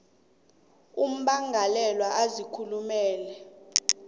ummangalelwa azikhulumela ngayo